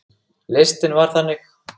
Listinn var þannig